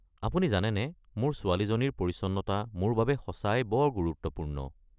আপুনি জানেনে, মোৰ ছোৱালীজনীৰ পৰিচ্ছন্নতা মোৰ বাবে সঁচাই বৰ গুৰুত্বপূৰ্ণ।